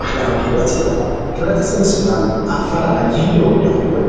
ማሕበራዊ ሂወት እዮም ። ሕብረተሰብን ስድራን ኣፈላላይ ይህልዎም ዶ ይኸውን?